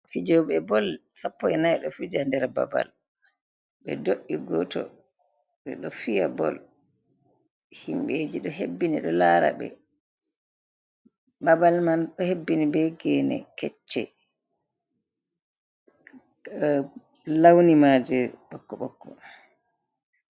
Fijoɓe bol sapoi e nai ɗo fija nder babal, ɓe do’i goto ɓe ɗo fiya bol, himɓeji ɗo hebbini ɗo lara ɓe, babal man ɗo hebbini be gene kecce, launi maje ɓokko ɓokko.